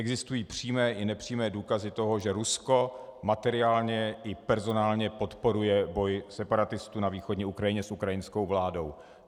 Existují přímé i nepřímé důkazy toho, že Rusko materiálně i personálně podporuje boj separatistů na východní Ukrajině s ukrajinskou vládou.